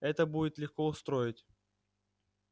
это будет легко устроить